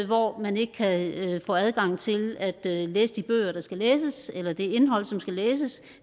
hvor man ikke kan få adgang til at læse de bøger der skal læses eller det indhold som skal læses